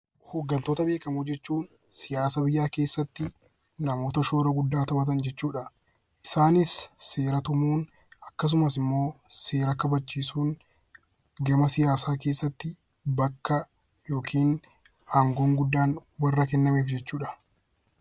Hooggantoota beekamoo jechuun siyaasa biyyaa keessatti namoota shoora guddaa taphatan jechuudha. Isaanis seera tumuun akkasumas seera kabachiisuun gama siyaasaa keessatti bakka yookiin aangoon guddaan warra kennameef jechuudha